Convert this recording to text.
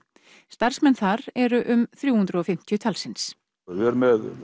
starfsmenn þar eru um þrjú hundruð og fimmtíu talsins við erum með